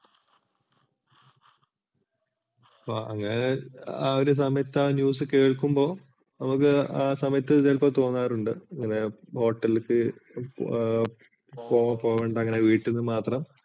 ഇപ്പോൾ അങ്ങനെ ആ ഒരു സമയത്തു ആ news കേൾക്കുമ്പോൾ നമുക്ക് ആ സമയത്തു ചിലപ്പോൾ തോന്നാറുണ്ട് ഇങ്ങനെ hotel പോകേണ്ട അങ്ങനെ വീട്ടീന്ന് മാത്രം